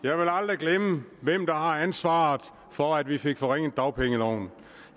jeg vil aldrig glemme hvem der har ansvaret for at vi fik forringet dagpengeloven